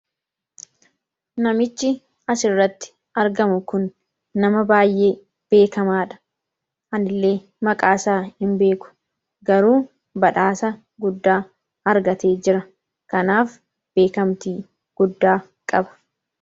Namichi suuraa kana irratti argamu Kun nama beekamaa atileet Abbabaa Biqilaati. Innis meedaliyaa isaa mormatti godhatee dhaabbachaa kan jiruu dha.